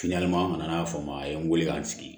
an nana fɔ ma a ye n weele k'an sigi